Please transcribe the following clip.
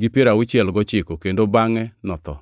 gi piero auchiel gochiko kendo bangʼe notho.